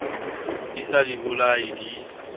di sa di bolaye di